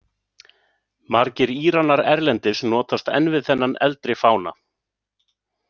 Margir Íranar erlendis notast enn við þennan eldri fána.